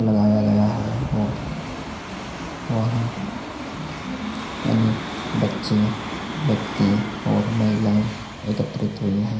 लगाया गया है और वहाँ अनेक बच्चें व्यक्ती और महिलाए एकत्रित हुई है।